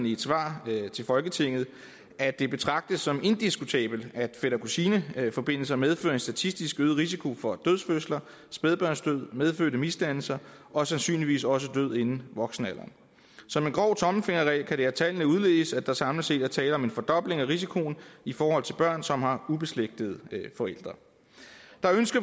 i et svar til folketinget at det betragtes som indiskutabelt at fætter kusine forbindelser medfører en statistisk øget risiko for dødfødsler spædbarnsdød medfødte misdannelser og sandsynligvis også død inden voksenalderen som en grov tommelfingerregel kan det af tallene udledes at der samlet set er tale om en fordobling af risikoen i forhold til børn som har ubeslægtede forældre